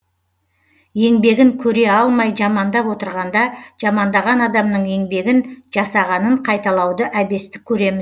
еңбегін көре алмай жамандап отырғанда жамандаған адамның еңбегін жасағанын қайталауды әбестік көреміз